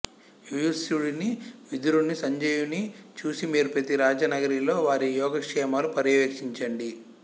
యుయుత్సుడిని విదురుని సంజయుని చూసి మీరు ప్రతి రాచనగరిలో వారి యోగక్షేమాలు పర్యవేక్షించండి